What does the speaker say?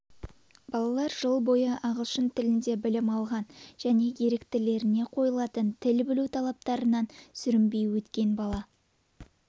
балалар жыл бойы ағылшын тілінде білім алған және еріктілеріне қойылатын тіл білу талаптарынан сүрінбей өткен бала